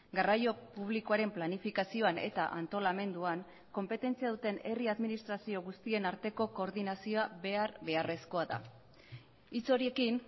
garraio publikoaren planifikazioan eta antolamenduan konpetentzia duten herri administrazio guztien arteko koordinazioa behar beharrezkoa da hitz horiekin